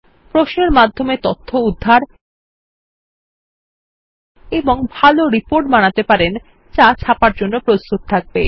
প্রশ্নের মাধ্যমে তথ্য উদ্ধার এবং ভালো রিপোর্ট বানাতে পারেন যা ছাপার জন্যে প্রস্তুত থাকবে